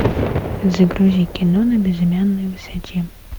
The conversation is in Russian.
загрузи кино на безымянной высоте